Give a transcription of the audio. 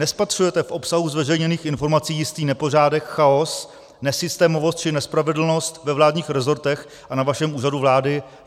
Nespatřujete v obsahu zveřejněných informací jistý nepořádek, chaos, nesystémovost či nespravedlnost ve vládních rezortech a na vašem Úřadu vlády?